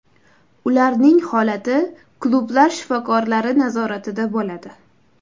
Ularning holati klublar shifokorlari nazoratida bo‘ladi.